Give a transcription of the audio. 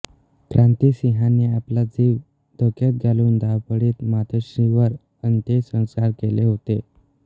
क्रांतिसिंहांनी आपला जीव धोक्यात घालून धावपळीत मातोश्रींवर अंत्यसंस्कार केले होते